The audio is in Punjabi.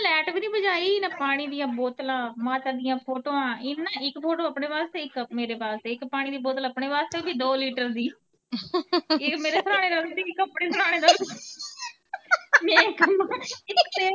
ਪਾਣੀ ਦੀਆਂ ਬੋਤਲਾਂ, ਮਾਤਾ ਦੀਆਂ ਫੋਟੋਆ, ਇੰਨੇ ਨਾ ਇੱਕ ਬੋਤਲ ਆਪਣੇ ਵਾਸਤੇ, ਇੱਕ ਮੇਰੇ ਵਾਸਤੇ, ਇੱਕ ਪਾਣੀ ਦੀ ਬੋਤਲ ਆਪਣੇ ਵਾਸਤੇ ਵੀਂ ਦੋ ਲੀਟਰ ਦੀਆਂ ਮੇਰੇ ਸਰਾਣੇ ਰੱਖਤੀ ਇੱਕ ਆਪਣੇ ਸਰਾਣੇ ਰੱਖਤੀ ਮੈਂ ਕਵਾਂ।